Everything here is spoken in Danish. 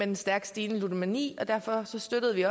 den stærkt stigende ludomani og derfor støttede vi